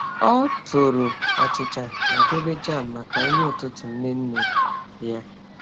Ọ tooru achịcha ma debe jam maka nri ụtụtụ nne nne ya.